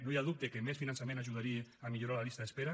no hi ha dubte que més finançament ajudaria a millorar les llistes d’espera